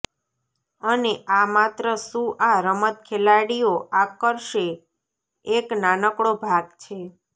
અને આ માત્ર શું આ રમત ખેલાડીઓ આકર્ષે એક નાનકડો ભાગ છે